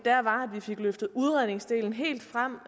fik løftet udredningsdelen helt frem